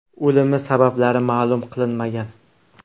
O‘limi sabablari ma’lum qilinmagan.